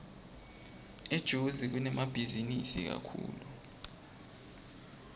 etozi kunemabhizinisi kakhulu